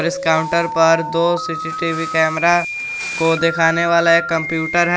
इस काउंटर पर दो सीसीटीवी कैमरा को दिखाने वाला एक कंप्यूटर है।